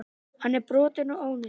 Hann er brotinn og ónýtur.